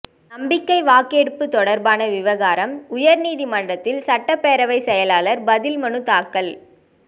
நம்பிக்கை வாக்கெடுப்பு தொடர்பான விவகாரம் உயர்நீதிமன்றத்தில் சட்டப்பேரவை செயலாளர் பதில் மனு தாக்கல்